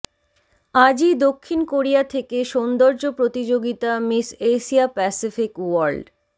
আজই দক্ষিণ কোরিয়া থেকে সৌন্দ্যর্য প্রতিযোগিতা মিস এশিয়া প্যাসিফিক ওয়ার্ল্ড